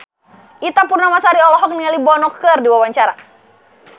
Ita Purnamasari olohok ningali Bono keur diwawancara